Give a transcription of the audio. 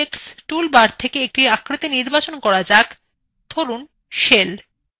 এবার 3dobjects toolbar থেকে একটি আকৃতি নির্বাচন করা যাক ধরুন shell